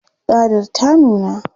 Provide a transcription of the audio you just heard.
Tsadar ta nuna.